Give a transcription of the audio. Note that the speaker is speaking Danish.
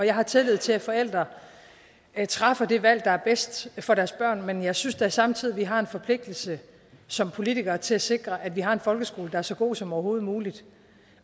jeg har tillid til at forældre træffer det valg der er bedst for deres børn men jeg synes da samtidig at vi har en forpligtelse som politikere til at sikre at vi har en folkeskole der er så god som overhovedet muligt